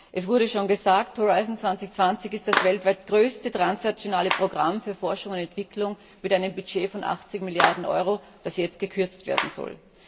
Es wurde schon gesagt Horizont 2020 ist das weltweit größte transnationale Programm für Forschung und Entwicklung mit einem Budget von 80 Milliarden EUR, das jetzt gekürzt werden soll.